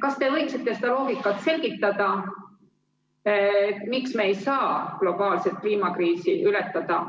Kas te võiksite seda loogikat selgitada, miks me ei saa globaalset kliimakriisi ületada